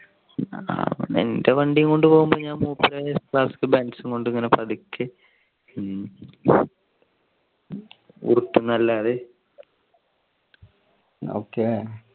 പിന്നെ എന്റെ വണ്ടിയും കൊണ്ട് പോകുമ്പോൾ ഞാൻ മൂപ്പരുടെ ക്ലാസിക് ബെൻസ് കൊണ്ട് ഇങ്ങനെ പതുക്കേഅല്ലാതെ